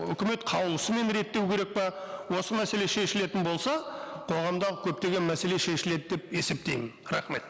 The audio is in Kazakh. үкімет қаулысымен реттеу керек пе осы мәселе шешілетін болса қоғамдағы көптеген мәселе шешіледі деп есептеймін рахмет